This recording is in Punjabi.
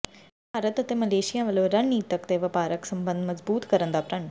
ਭਾਰਤ ਅਤੇ ਮਲੇਸ਼ੀਆ ਵੱਲੋਂ ਰਣਨੀਤਕ ਤੇ ਵਪਾਰਕ ਸਬੰਧ ਮਜ਼ਬੂਤ ਕਰਨ ਦਾ ਪ੍ਰਣ